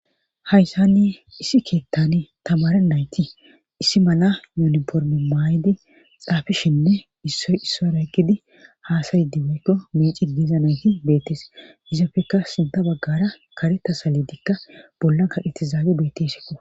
Hayssanni issi keettani tamare nayti issi mala yooniformi maay7idi xaafishinne issoy issoy ra kkidi haasayyidi weykko meici diiza nayti beettes yizapfekka sinta baggara kareta salidikka bollan kaqetizaabe beettesikko.